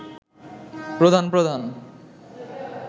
প্রধান প্রধান